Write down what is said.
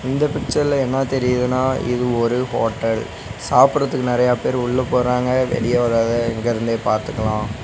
இந்த பிச்சர்ல என்ன தெரியிதுனா இது ஒரு ஹோட்டல் சாப்படறதுக்கு நெறையா பேர் உள்ள போறாங்க வெளிய வரத இங்கிருந்தே பாத்துக்கலா.